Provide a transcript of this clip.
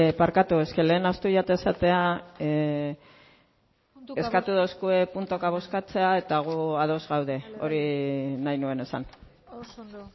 bai barkatu eske lehen ahaztu zait esatea puntuka eskatu duzue puntuka bozkatzea eta gu ados gaude hori nahi nuen esan oso ondo